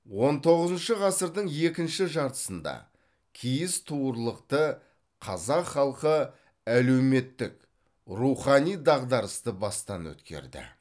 он тоғызыншы ғасырдың екінші жартысында киіз туырлықты қазақ халқы әлеуметтік рухани дағдарысты бастан өткерді